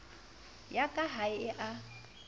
ya ka ha e a